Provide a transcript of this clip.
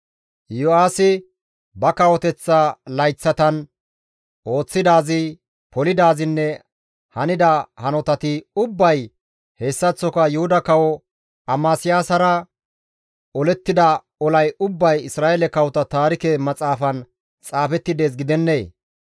Yo7aasi ba kawoteththa layththatan ooththidaazi, polidaazinne hanida hanotati ubbay hessaththoka Yuhuda kawo Amasiyaasara olettida olay ubbay Isra7eele kawota taarike maxaafan xaafetti dees gidennee?